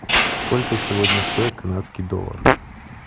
сколько сегодня стоит канадский доллар